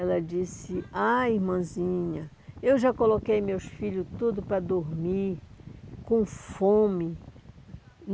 Ela disse, ai irmãzinha, eu já coloquei meus filhos tudo para dormir, com fome.